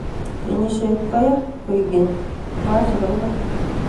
kenisiyet koyaa, koek keny mwaa chepo iman